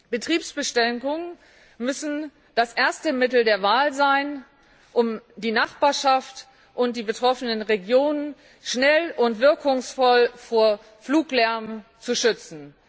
Betriebsbeschränkungen müssen das erste Mittel der Wahl sein, um die Nachbarschaft und die betroffenen Regionen schnell und wirkungsvoll vor Fluglärm zu schützen.